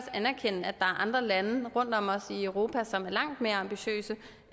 andre lande rundt om os i europa som er langt mere ambitiøse